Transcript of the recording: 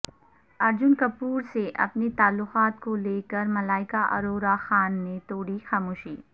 ارجن کپور سے اپنے تعلقات کو لے کر ملائکہ ارورہ خان نے توڑی خاموشی